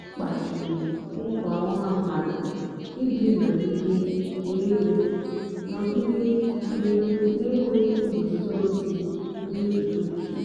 ọ́ kpàchìrí nkwá ọ́há mmádụ́ íjì nọ̀gídé nà-énwé nọ̀gídé nà-énwé ngúzòzí mmétụ́tà úche.